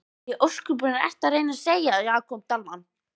Hvað í ósköpunum ertu að reyna að segja, Jakob Dalmann?